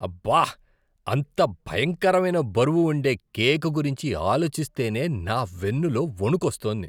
అబ్బా, అంత భయంకరమైన బరువు ఉండే కేక్ గురించి ఆలోచిస్తేనే నా వెన్నులో వొణుకొస్తోంది .